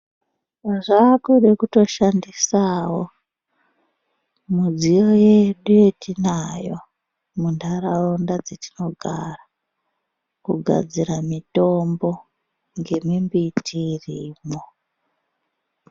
Zvakuda kutoshandisawo midziyo yedu yatinayo mundaraunda dzedu dzatinogara kugadzira mitombo ngemimbiti irimo.